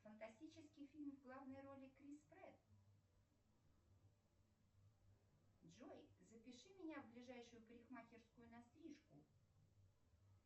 фантастический фильм в главной роли крис претт джой запиши меня в ближайшую парикмахерскую на стрижку